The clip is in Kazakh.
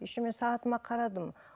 еще мен сағатыма қарадым